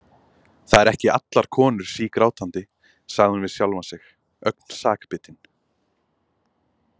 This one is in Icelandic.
Það eru ekki allar konur sígrátandi, sagði hún við sjálfa sig, ögn sakbitin.